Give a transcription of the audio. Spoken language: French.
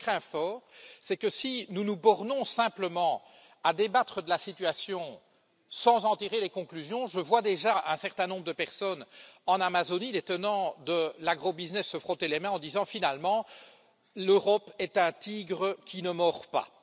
Ce que je crains fort, c'est que, si nous nous bornons simplement à débattre de la situation sans en tirer les conclusions, je vois déjà un certain nombre de personnes en Amazonie, les tenants de l'agro business, se frotter les mains en disant finalement, l'Europe est un tigre qui ne mord pas.